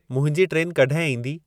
मुंहिंजी ट्रेनु कॾहिं ईंदी